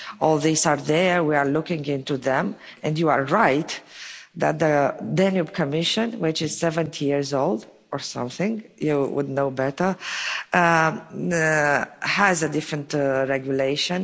systems. All these are there, we are looking into them. And you are right that the Danube Commission, which is 70 years old or something similar, you know would know better has a different regulation.